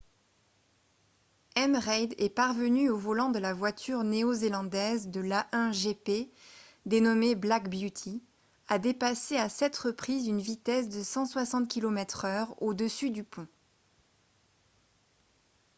m. reid est parvenu au volant de la voiture néo-zélandaise de l'a1 gp dénommée black beauty à dépasser à 7 reprises une vitesse de 160 km/h au dessus du pont